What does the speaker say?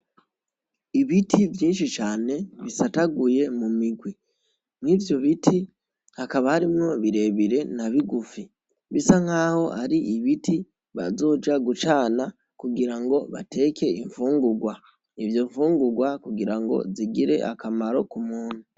Ibiti vyinshi cane bisataguye mu migwi, mwivyo biti hakaba harimwo birebire na bigufi, bisa nkaho ari ibiti bazoja gucana kugira ngo bateke infungurwa, izo nfungurwa kugira ngo zigire akamaro k'umuntu.